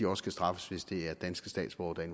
også kan straffes hvis det er danske statsborgere der er